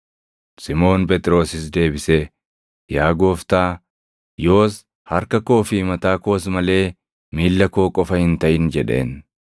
Simoon Phexrosis deebisee, “Yaa Gooftaa, yoos harka koo fi mataa koos malee miilla koo qofa hin taʼin” jedheen.